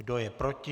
Kdo je proti?